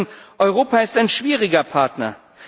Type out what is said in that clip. Sie sagen Europa ist ein schwieriger Partner.